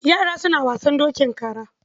Yara suna wasan dokin kara.